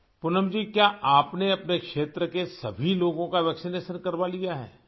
پونم جی کیا آپ نے اپنے علاقے کے سبھی لوگوں کی ٹیکہ کاری کروالی ہے